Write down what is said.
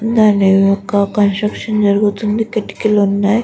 దాని యొక్క కన్స్స్ట్రక్షన్ జరుగుతుంది. కిటికీలు ఉన్నాయి.